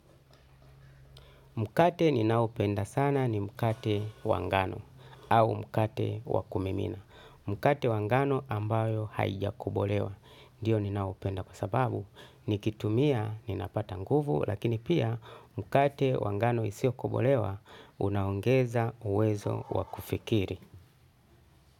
Mkate ninaoupenda sana ni mkate wa ngano au mkate wa kumimina. Mkate wa ngano ambao haujakobolewa. Ndiyo, ninaupenda kwa sababu nikitumia ninapata nguvu, lakini pia mkate wa ngano usiokobolewa unaongeza uwezo wa kufikiri.